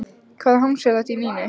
Hvaða hangs er þetta í Nínu?